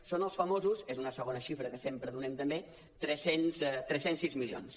són els famosos és una segona xifra que sempre donem també tres cents i sis milions